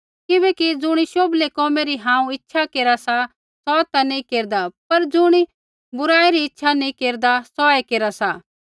किबैकि ज़ुणी शोभलै कोमै री हांऊँ इच्छा केरा सा सौ ता नैंई केरदा पर ज़ुणी बुराई री इच्छा नैंई केरदा सोऐ केरा सा